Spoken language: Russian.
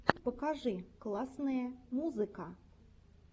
покажи классные музыка